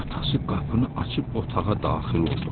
Atası qapını açıb otağa daxil oldu.